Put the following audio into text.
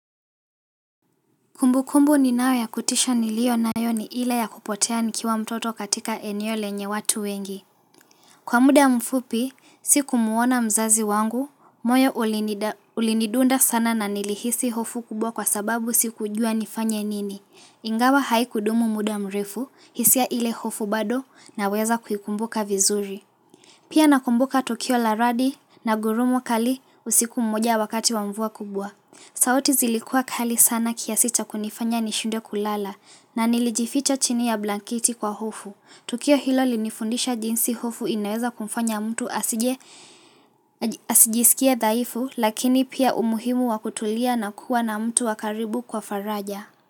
Kumbukumbu ninayo ya kutisha nilio nayo ni ile ya kupotea nikiwa mtoto katika eneo lenye watu wengi. Kwa muda mfupi, siku muona mzazi wangu, moyo ulinidunda sana na nilihisi hofu kubwa kwa sababu siku ujua nifanye nini. Ingawa haiku dumu muda mrefu, hisia ile hofu bado na weza kuikumbuka vizuri. Pia nakumbuka tokio la radi na gurumu kali usiku mmoja wakati wa mvua kubwa. Saoti zilikua kali sana kiasita kunifanya nishunde kulala na nilijificho chini ya blankiti kwa hofu. Tukio hilo linifundisha jinsi hofu inaweza kumfanya mtu asijisikia daifu lakini pia umuhimu wakutulia na kuwa na mtu wakaribu kwa faraja.